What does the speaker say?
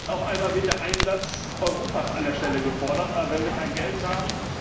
Jetzt auf einmal wird der Einsatz Europas an der Stelle gefordert. Aber wenn wir kein Geld haben